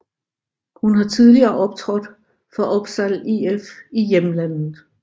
Hun har tidligere optrådt for Oppsal IF i hjemlandet